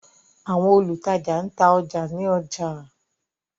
Àwọn olutaja n ta ọja ni ọja.